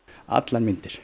allar myndir